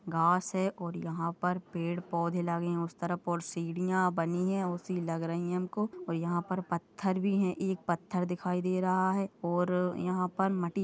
घास है और यहा पर पेड़ पौधे लागे है उस तरफ और सीड़ीया बनी है ओसी लग रही है हमको और यहा पर पत्थर भी है एक पत्थर दिखाई दे रहा है और यहा पर मटी --